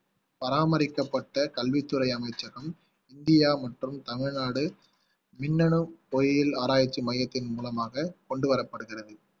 பராமரிக்கப்பட்ட கல்வித்துறை அமைச்சகம் இந்தியா மற்றும் தமிழ்நாடு மின்னணு பொறியியல் ஆராய்ச்சி மையத்தின் மூலமாக கொண்டு வரப்படுகிறது